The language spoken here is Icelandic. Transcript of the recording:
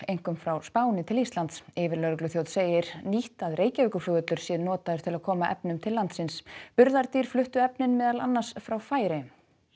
einkum frá Spáni til Íslands yfirlögregluþjónn segir nýtt að Reykjavíkurflugvöllur sé notaður til að koma efnum til landsins burðardýr fluttu efnin meðal annars frá Færeyjum